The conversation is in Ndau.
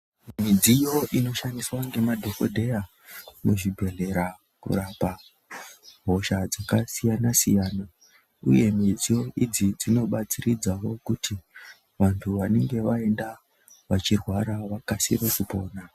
Midziyo inoshandiswa ngemadhokodheya kuzvibhedhera kurapa hosha dzakasiyana siyana uye midziyo idzi dzinobatsiridzawo kuti vantu vanenge vaenda veirwara vakasire kupona.